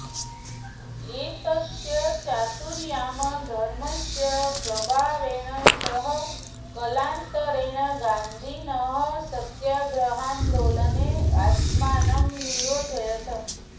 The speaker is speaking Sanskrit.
एतस्य चातुर्यामधर्मस्य प्रभावेण सः कालान्तरेण गान्धिनः सत्याग्रहान्दोलने आत्मानं नियोजयत्